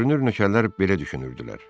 Görünür nökərlər belə düşünürdülər.